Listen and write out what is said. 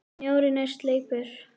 Snjórinn er sleipur!